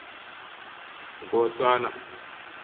nkosana